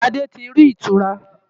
Ṣadé ti rí ìtura.